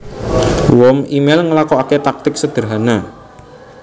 Worm émail nglakokaké taktik sederhana